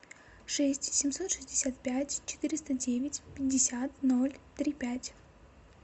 шесть семьсот шестьдесят пять четыреста девять пятьдесят ноль три пять